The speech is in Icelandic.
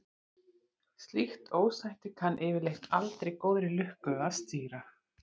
Slíkt ósætti kann yfirleitt aldrei góðri lukka að stýra.